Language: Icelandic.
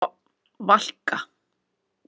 Valka